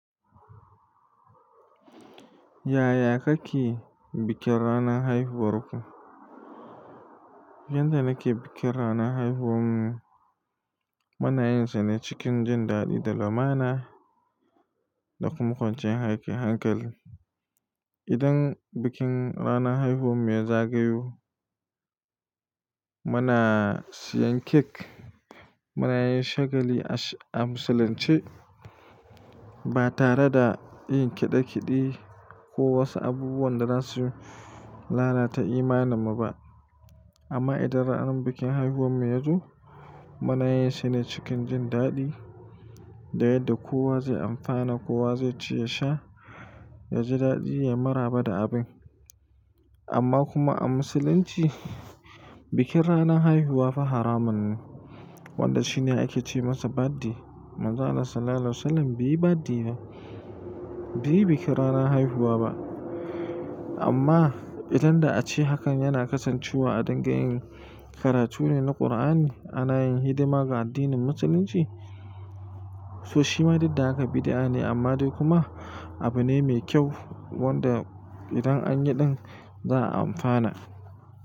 Yaya kake bikin ranar haihuwar ku? Yanda nake bikin ranar haihuwarmu, munayinsa ne cikin jin daɗi da lamana da kuma kwanciyar hankali. Idan bikin ranar haihuwar mu ya zagayu, muna siyan kek, munayin shagali a musulunce ba tare da yin kiɗe kiɗe ko wasu abubuwan da za su lalata imanimu ba. Amma idan ranar bikin haihuwar mu ya zo, munayinsa ne cikin jin daɗi da yadda kowa zai amfana, kowa zai ci ya sha, ya ji daɗi, yayi maraba da abin. Amma kuma a Musulunci, bikin ranar haihuwa fa haramun ne wanda shi ne ake ce masa birthday. Manzon Allah Sallallahu Alaihi Wasallam bai yi birthday ba, bai yi bikin ranar haihuwa ba. Amma idan da a ce hakan yana kasancewa a dunga yin karatu ne na Kur'ani, ana yin hidima ga addinin Musulunci, so shi ma diddan ka bid'a ne amma dai kuma abu ne mai kyau wanda idan an yi ɗin za a amfana.